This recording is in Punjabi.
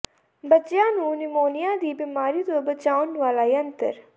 ਬੱਚਿਆਂ ਨੂੰ ਨਿਮੋਨੀਆ ਦੀ ਬਿਮਾਰੀ ਤੋਂ ਬਚਾਉਣ ਵਾਲਾ ਯੰਤਰ